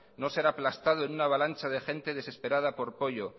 no ser aplastado en una avalancha de gente desesperada por pollo